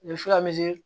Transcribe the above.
U bɛ se ka